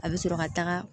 A bɛ sɔrɔ ka taga